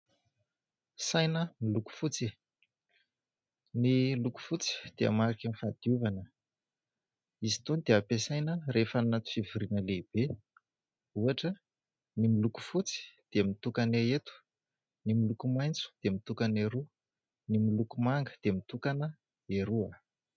Saina miloko fotsy. Ny loko fotsy dia mariky ny fahadiovana, izy itony dia ampesaina rehefa any anaty fivoriana lehibe, ohatra ny miloko fotsy dia mitokana eto, ny miloko maitso dia mitokana eroa, ny miloko manga dia mitokana eroa.